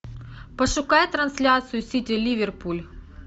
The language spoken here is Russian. пошукай трансляцию сити ливерпуль